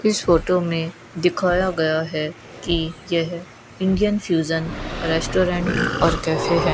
इस फोटो में दिखाया गया है कि यह इंडियन फ्यूजन रेस्टोरेंट और कैफे है।